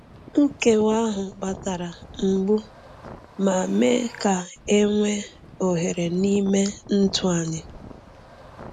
Nkewa ahụ kpatara mgbu ma mee ka e nwee oghere n’ime ndụ anyị.